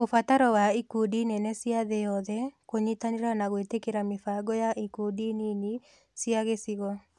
Ũbataro wa ikundi nene cia thĩ yothe kũnyitanĩra na gwĩtĩkĩra mĩbango ya ikundi nini cia gĩcigo.